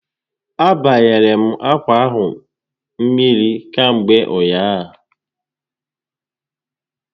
A banyere m akwa ahụ mmiri kamgbe ụnyaahụ